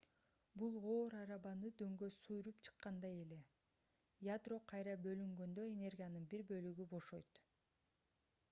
бул оор арабаны дөңгө сүрүп чыккандай эле ядро кайра бөлүнгөндө энергиянын бир бөлүгү бошойт